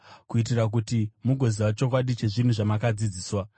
kuitira kuti mugoziva chokwadi chezvinhu zvamakadzidziswa.